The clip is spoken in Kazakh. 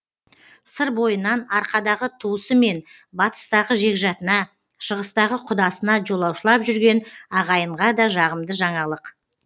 сыр бойынан арқадағы туысы мен батыстағы жекжатына шығыстағы құдасына жолаушылап жүрген ағайынға да жағымды жаңалық